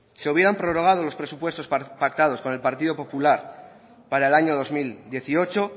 se hubieran prorrogado los presupuestos pactados con el partido popular para el año dos mil dieciocho